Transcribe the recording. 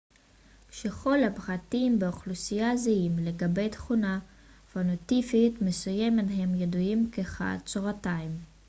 כשכל הפרטים באוכלוסייה זהים לגבי תכונה פנוטיפית מסוימת הם ידועים כחד-צורתיים